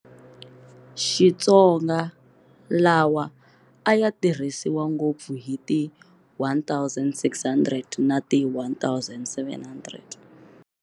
Xitsonga lawa a ya tirhisiwa ngopfu hi ti 1600 na ti 1700.